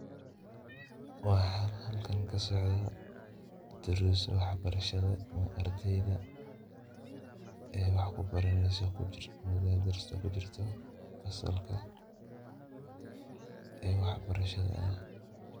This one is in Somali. Waxa halkan kasocdoh daarsi waxbarashada ardeyda, ee wax kubaraneysoh darsi kijirtoh ee waxbarashada.